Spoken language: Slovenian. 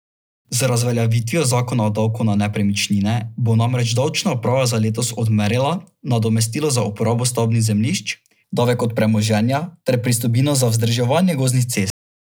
Z razveljavitvijo zakona o davku na nepremičnine bo namreč davčna uprava za letos odmerila nadomestilo za uporabo stavbnih zemljišč, davek od premoženja ter pristojbino za vzdrževanje gozdnih cest.